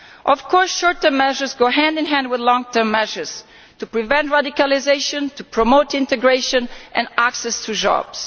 Of course, short term measures go hand in hand with long term measures to prevent radicalisation, to promote integration and give access to jobs.